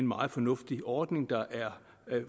meget fornuftig ordning der er